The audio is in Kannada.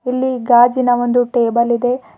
ಇಲ್ಲಿ ಗಾಜಿನ ಒಂದು ಟೇಬಲ್ ಇದೆ.